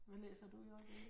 Hvad læser du i øjeblikket?